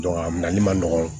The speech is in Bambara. a minɛli man nɔgɔn